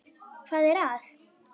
Hvað er að?